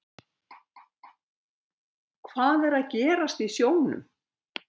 Hvað er að gerast í sjónum?